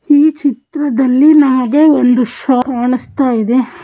ಈ ಚಿತ್ರದಲ್ಲಿ ನಮಗೆ ಒಂದು ಶಾಪ್ ಕಾಣಿಸತೈದೆ.